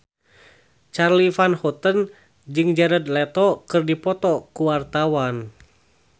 Charly Van Houten jeung Jared Leto keur dipoto ku wartawan